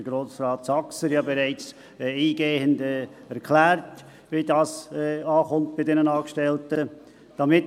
Grossrat Saxer hat bereits eingehend erklärt, wie das bei den Angestellten ankommt.